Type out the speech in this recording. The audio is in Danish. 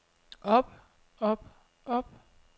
op op op